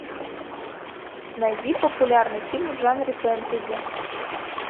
найди популярный фильм в жанре фэнтези